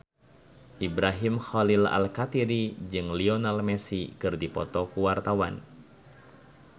Ibrahim Khalil Alkatiri jeung Lionel Messi keur dipoto ku wartawan